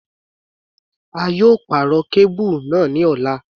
A yóò pàrọ̀ kábùrù náà ní ọ̀la.